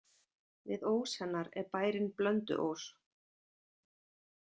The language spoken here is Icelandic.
Við ós hennar er bærinn Blönduós.